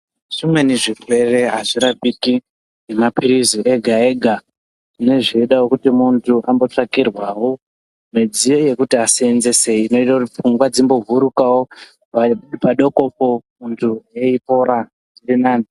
Zvimweni zvirwere azvirapiki ngemapirizi ega ega zvinenge zveida kuti muntu ambotsvakirwawo midziyo yekuti asenzese inoite kuti pfungwa dzimbovhurikawo pai padokopo muntu eipora zviri nani.